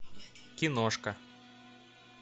киношка